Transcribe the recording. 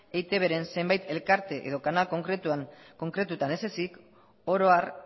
eitbren zenbait elkarte edo kanal konkretuetan ez ezik oro har